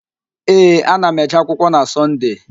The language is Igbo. Ee, ana m eje akwụkwọ na Sọnde